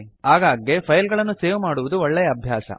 ಆಗಾಗ್ಗೆ ಫೈಲ್ ಗಳನ್ನು ಸೇವ್ ಮಾಡುವುದು ಒಳ್ಳೆಯ ಅಭ್ಯಾಸ